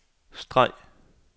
streg